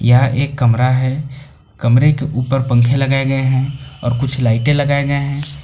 यह एक कमरा है कमरे के ऊपर पंखे लगाए गए हैं और कुछ लाइटें लगाए गए हैं।